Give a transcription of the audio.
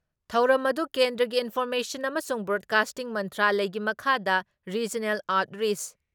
ꯊꯧꯔꯝ ꯑꯗꯨ ꯀꯦꯟꯗ꯭ꯔꯒꯤ ꯏꯟꯐꯣꯔꯃꯦꯁꯟ ꯑꯃꯁꯨꯡ ꯕ꯭ꯔꯣꯗꯀꯥꯁꯇꯤꯡ ꯃꯟꯇ꯭ꯔꯥꯂꯌꯒꯤ ꯃꯈꯥꯗ ꯔꯤꯖꯅꯦꯜ ꯑꯥꯎꯠꯔꯤꯁ